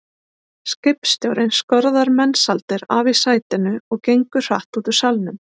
Skipstjórinn skorðar Mensalder af í sætinu og gengur hratt út úr salnum.